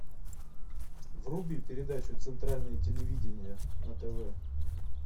вруби передачу центральное телевидение на тв